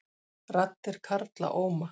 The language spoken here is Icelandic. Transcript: Raddir karla óma